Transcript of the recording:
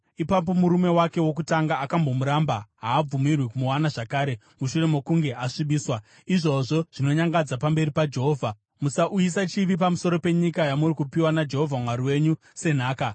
ipapo murume wake wokutanga, akambomuramba, haabvumirwi kumuwana zvakare mushure mokunge asvibiswa. Izvozvo zvinonyangadza pamberi paJehovha. Musauyisa chivi pamusoro penyika yamuri kupiwa naJehovha Mwari wenyu senhaka.